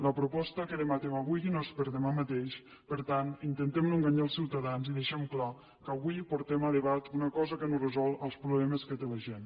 la proposta que debatem avui no és per demà mateix per tant intentem no enganyar els ciutadans i deixem clar que avui portem a debat una cosa que no resol els problemes que té la gent